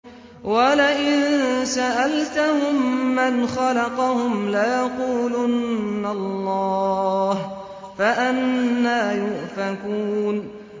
وَلَئِن سَأَلْتَهُم مَّنْ خَلَقَهُمْ لَيَقُولُنَّ اللَّهُ ۖ فَأَنَّىٰ يُؤْفَكُونَ